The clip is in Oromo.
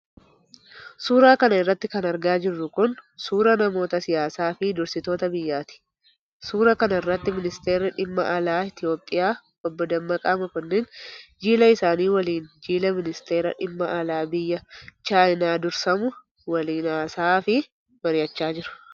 Suura kana irratti kan argaa jirru kun, suura namoota siyaasaa fi dursitoota biyyaati. Suura kana irratti, Ministeerri dhimma alaa, Itoophiyaa Obboo Dammaqa Makonnin, jila isaanii waliin, jiila ministeera dhimma alaa biyya Chaayinaa dursamu waliin haas'aa fi mari'achaa jiru.